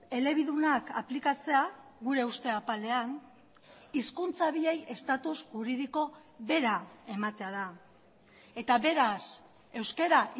elebidunak aplikatzea gure uste apalean hizkuntza biei estatuz juridiko bera ematea da eta beraz euskara